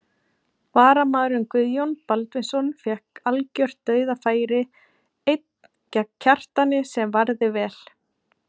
Varamaðurinn Guðjón Baldvinsson fékk algjört dauðafæri einn gegn Kjartani sem varði vel.